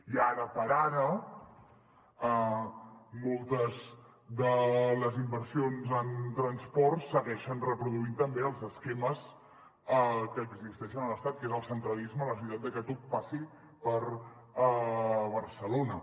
i ara per ara moltes de les inversions en transport segueixen reproduint també els esquemes que existeixen a l’estat que és el centralisme la necessitat de que tot passi per barcelona